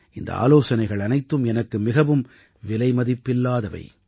இந்த ஆலோசனைகள் அனைத்தும் எனக்கு மிகவும் விலைமதிப்பில்லாதவை